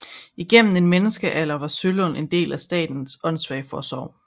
Igennem en menneskealder var Sølund en del af Statens Åndsvageforsorg